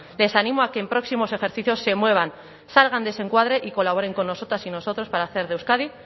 les ánimo a que en próximos ejercicios se muevan salgan de ese encuadre y colaboren con nosotras y nosotros para hacer de euskadi